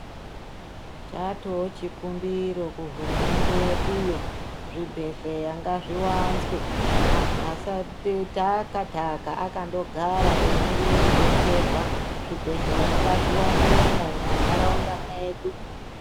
Chatoo chikumbiro kuhurumende yedu yo zvibhehleya ngazviwanzwe antu asateta akataka akandogara emirire kubetserwa zvibhehlerya ngazviwandemwo mumandaraunda mwedu